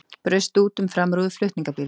Braust út um framrúðu flutningabíls